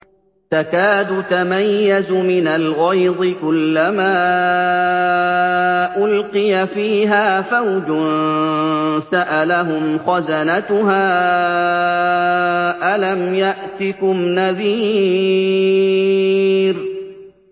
تَكَادُ تَمَيَّزُ مِنَ الْغَيْظِ ۖ كُلَّمَا أُلْقِيَ فِيهَا فَوْجٌ سَأَلَهُمْ خَزَنَتُهَا أَلَمْ يَأْتِكُمْ نَذِيرٌ